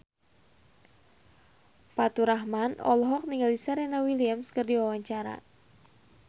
Faturrahman olohok ningali Serena Williams keur diwawancara